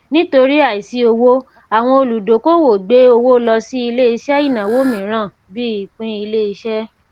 nítorí àìsí owó àwọn olùdókòwò gbé owó lọ sí ilé iṣẹ ìnáwó mìíràn bíi ìpín ilé iṣẹ